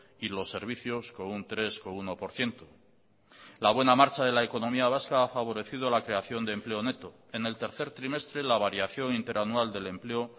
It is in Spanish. y los servicios con un tres coma uno por ciento la buena marcha de la economía vasca ha favorecido la creación de empleo neto en el tercer trimestre la variación inter anual del empleo